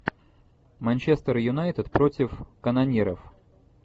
манчестер юнайтед против канониров